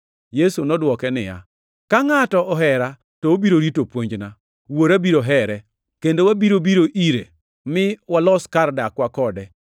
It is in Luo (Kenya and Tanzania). Yesu nodwoke niya, “Ka ngʼato ohera to obiro rito puonjna, Wuora biro here, kendo wabiro biro ire mi walos kar dakwa kode.